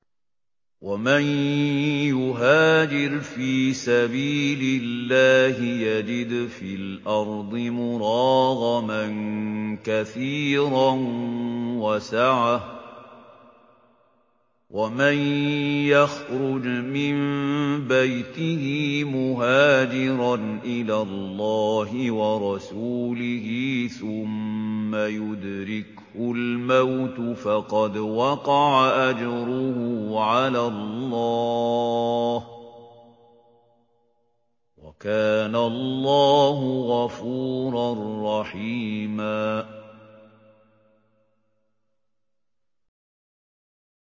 ۞ وَمَن يُهَاجِرْ فِي سَبِيلِ اللَّهِ يَجِدْ فِي الْأَرْضِ مُرَاغَمًا كَثِيرًا وَسَعَةً ۚ وَمَن يَخْرُجْ مِن بَيْتِهِ مُهَاجِرًا إِلَى اللَّهِ وَرَسُولِهِ ثُمَّ يُدْرِكْهُ الْمَوْتُ فَقَدْ وَقَعَ أَجْرُهُ عَلَى اللَّهِ ۗ وَكَانَ اللَّهُ غَفُورًا رَّحِيمًا